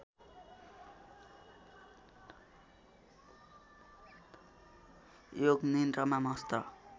योग निन्द्रामा मस्त